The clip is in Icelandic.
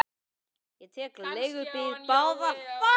Ég tek mér leigubíl báðar leiðir, svo hafðu ekki áhyggjur.